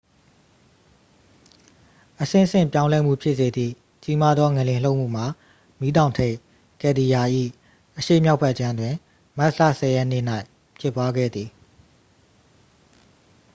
အဆင့်ဆင့် ပြောင်းလဲမှု ဖြစ်စေသည့် ကြီးမားသော ငလျင် လှုပ်မှုမှာ မီးတောင်ထိပ် ကယ်လ်ဒီယာ၏ အရှေ့မြောက်ဘက်ခြမ်းတွင် မတ်လ 10 ရက်နေ့၌ ဖြစ်ပွားခဲ့သည်